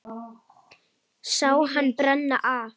Sá hann brenna af.